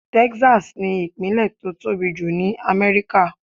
Texas ni ìpínlè tó tóbi jù ní Amẹ́ríkà.